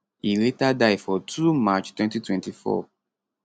e later die for 2 march 2024